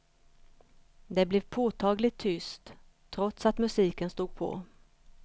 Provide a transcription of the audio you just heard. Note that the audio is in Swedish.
Det blev påtagligt tyst, trots att musiken stod på.